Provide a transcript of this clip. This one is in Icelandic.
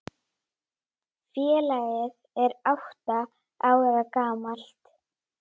Félagið er átta ára gamalt.